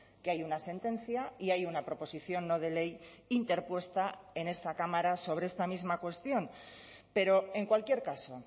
que hay una sentencia y hay una proposición no de ley interpuesta en esta cámara sobre esta misma cuestión pero en cualquier caso